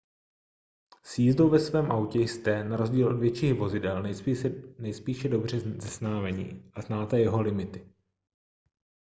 s jízdou ve svém autě jste na rozdíl od větších vozidel nejspíše dobře seznámeni a znáte jeho limity